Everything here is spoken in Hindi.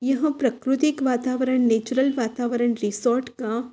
यह प्रकृतिक वातावरण नैचरल वातावरण रिसोर्ट का --